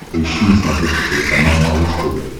поищи на смотрешке телеканал малыш тв